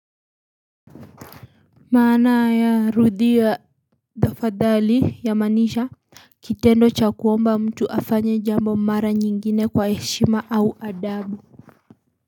Maana ya rudhi ya dhafadhali ya manisha kitendo cha kuomba mtu afanye jambo mara nyingine kwa heshima au adabu.